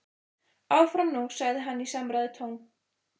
Áfram nú sagði hann í samræðutón.